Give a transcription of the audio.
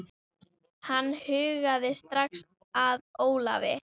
Hann hugaði strax að Ólafi.